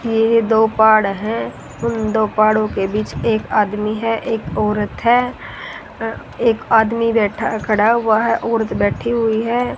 ये दो पहाड़ है उन दो पहाड़ों के बीच एक आदमी है एक औरत है अ एक आदमी बैठा खड़ा हुआ है औरत बैठी हुई है।